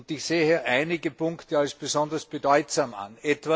Ich sehe einige Punkte als besonders bedeutsam an.